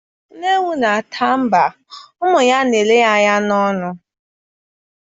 Nne ewu na-ata agba, umu ya a na-ele ya anya n'ọnụ.